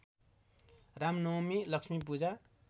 Ramnavami Lakshmi Puja